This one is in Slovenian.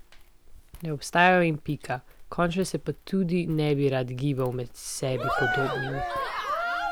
Ne obstajajo in pika, končno se pa tudi ne bi rad gibal med sebi podobnimi.